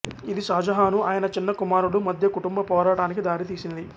ఇది షాజహాను ఆయన చిన్న కుమారులు మధ్య కుటుంబ పోరాటానికి దారితీసింది